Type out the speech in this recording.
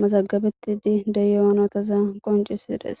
mazagabetidi deyonotaza qoncisides